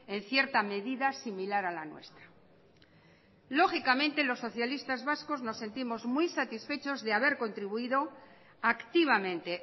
en cierta medida similar a la nuestra lógicamente los socialistas vascos nos sentimos muy satisfechos de haber contribuido activamente